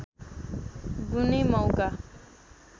गुने मौका